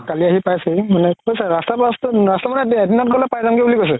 কালি আহি পাইছে হি মানে কৈছে ৰাস্তা মানে এদিনত পাই যামগে বুলি কৈছে